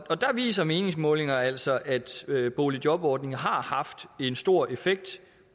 viser meningsmålinger altså altså at boligjobordningen har haft en stor effekt